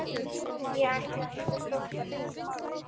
ég ætlaði ekkert að stoppa neitt.